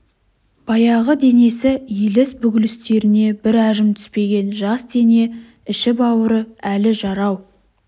баяғы денесі иіліс-бүгілістеріне бір әжім түспеген жас дене іші-бауыры әлі жарау